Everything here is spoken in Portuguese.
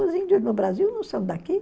Os índios no Brasil não são daqui.